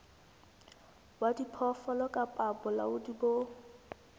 wa diphoofolo kapa bolaodi bo